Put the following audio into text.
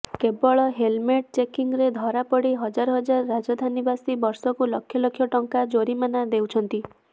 କେବଳ ହେଲମେଟ୍ ଚେକିଂରେ ଧରାପଡ଼ି ହଜାର ହଜାର ରାଜଧାନୀବାସୀ ବର୍ଷକୁ ଲକ୍ଷ ଲକ୍ଷ ଟଙ୍କା ଜରିମାନା ଦେଉଛନ୍ତି